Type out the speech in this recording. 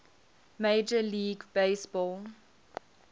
major league baseball